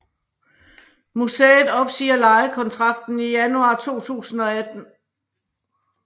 Museet opsiger lejekontrakten i januar 2018